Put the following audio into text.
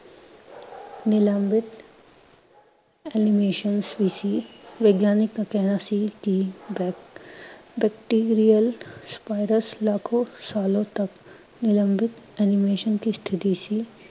ਨਿਲਂਭਿਤ animation ਵੀ ਸੀ, ਵਿਗਿਆਨਕ ਦਾ ਕਹਿਣਾ ਸੀ ਕਿ bacterial ਸਾਲੋਂ ਤਕ ਨਿਲਂਭਿਤ animation ਕੀ ਸਥਿਤੀ ਸੀ